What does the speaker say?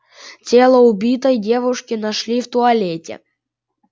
тело убитой девушки нашли в туалете